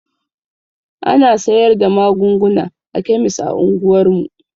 Ana sayar da magunguna a kemis a unguwar mu.